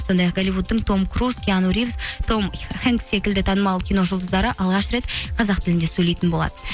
сондай ақ голливудтың том круз киано ривз том хэнгс секілді танымал киножұлдыздары алғаш рет қазақ тілінде сөйлейтін болады